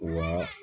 Wa